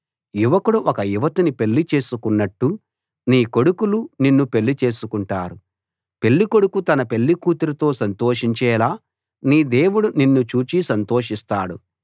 యువకుడు ఒక యువతిని పెళ్లిచేసుకున్నట్టు నీ కొడుకులు నిన్ను పెళ్లి చేసుకుంటారు పెళ్ళికొడుకు తన పెళ్ళికూతురుతో సంతోషించేలా నీ దేవుడు నిన్ను చూచి సంతోషిస్తాడు